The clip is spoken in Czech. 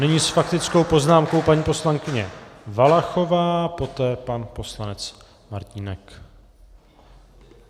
Nyní s faktickou poznámkou paní poslankyně Valachová, poté pan poslanec Martínek.